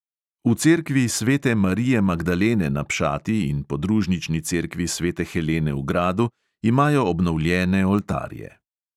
V cerkvi svete marije magdalene na pšati in podružnični cerkvi svete helene v gradu imajo obnovljene oltarje.